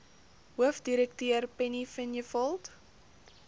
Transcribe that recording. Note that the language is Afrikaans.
hoofdirekteur penny vinjevold